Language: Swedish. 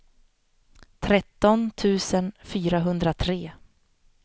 tretton tusen fyrahundratre